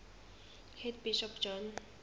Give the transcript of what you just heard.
head bishop john